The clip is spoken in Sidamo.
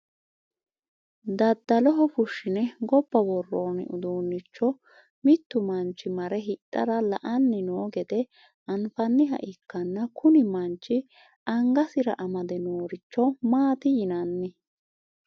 daddaloho fushshine gobba worroonni uduunnicho mittu manchi mare hidhara la'anni noo gede anfanniha ikkanna, kuni manchi amgasira amade nooricho maati yinanni?